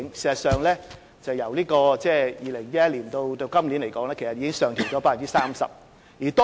事實上，由2011年至今年，數字已上調 30%。